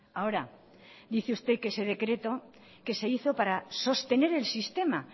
ahora dice usted que ese decreto que se hizo para sostener el sistema